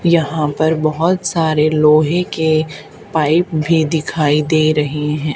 यहां पर बहोत सारे लोहे के पाइप भी दिखाई दे रहे हैं।